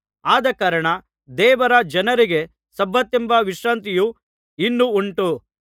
ಆದಕಾರಣ ದೇವರ ಜನರಿಗೆ ಸಬ್ಬತೆಂಬ ವಿಶ್ರಾಂತಿಯು ಇನ್ನೂ ಉಂಟು